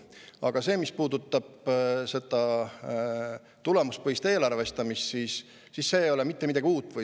Aga mis puudutab seda tulemuspõhist eelarvestamist, siis see ei ole mitte midagi uut.